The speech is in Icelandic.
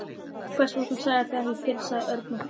Hvers vegna sagðirðu það ekki fyrr? sagði Örn og hló.